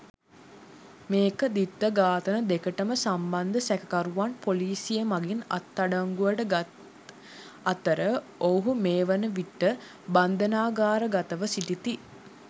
මෙම ද්විත්ව ඝාතන දෙකටම සම්බන්ධ සැකකරුවන් පොලිසිය මගින් අත්අඩංගුවට ගත් අතර ඔවුහු මේ වනවිට බන්ධනාගාරගතව සිටිති.